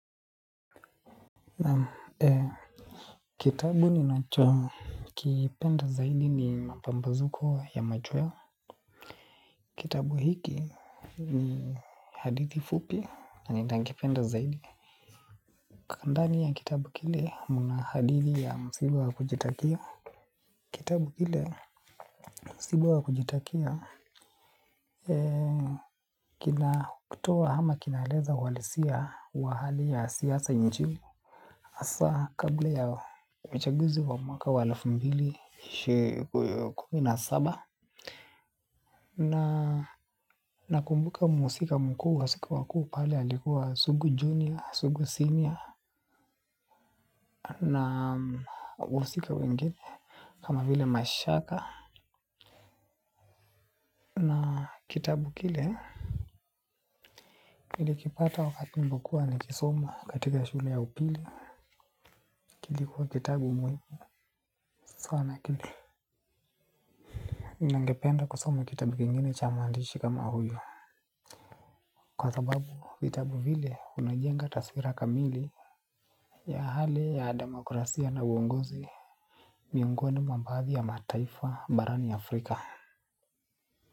Naam kitabu ninacho kipenda zaidi ni mambazuko ya macheweo. Kitabu hiki ni hadithi fupi na nina kipenda zaidi. Kandani ya kitabu kile mna hadithi ya msiba wa kujitakia. Kitabu kile msibu wa kujitakia kina kutoa ama kinaeleza uhalisia wa hali ya siasa njini. Asa kabla ya uchaguzi wa mwaka wa elfu mbili kumi na saba. Nakumbuka muhusika mkuu wausiku wa kuu pale alikuwa sugu junior, sugu senior na musika wengine kama vile mashaka na kitabu kile nili kipata wakati niliokuwa nikisoma katika shule ya upili. Kilikuwa kitabu mwezi sana kile. Ningependa kusoma kitabu kingine cha muandishi kama huyo. Kwa sababu vitabu vile unajenga taswira kamili ya hali ya demokrasia na uongozi miungoni mwa baadhi ya mataifa barani Afrika.